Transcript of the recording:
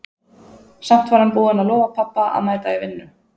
Samt var hann búinn að lofa pabba að mæta í vinnu.